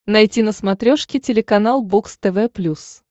найти на смотрешке телеканал бокс тв плюс